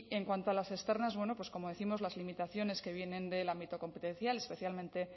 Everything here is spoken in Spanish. en cuanto a las externas como décimos las limitaciones que vienen del ámbito competencial especialmente